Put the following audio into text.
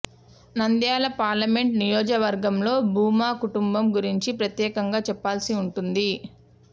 Nandyal parliament నియోజకవర్గంలో భూమా కుటుంబం గురించి ప్రత్యేకంగా చెప్పాల్సి ఉంటుంది